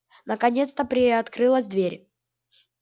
наконец-то приоткрылась дверь